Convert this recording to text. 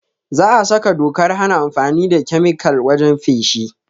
Za a saka dokar hana amfani da kemikal wajen feshi